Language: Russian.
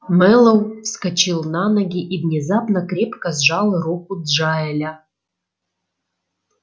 мэллоу вскочил на ноги и внезапно крепко сжал руку джаэля